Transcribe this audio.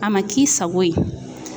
A ma k'i sago ye